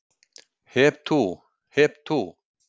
Hep tú, hep tú.